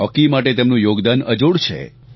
hockey માટે તેમનું યોગદાન અજોડ છે